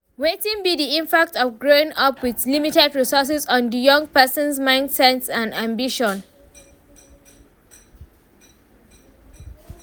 Wetin be di impact of growing up with limited resources on di young person's mindset and ambition?